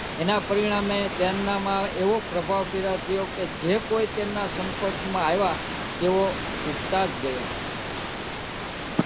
પ્રભાવ પેદા થયો કે જે કોઈ તેમના સંપર્ક માં આવ્યા તેઓ ઝૂકતાંજ ગયા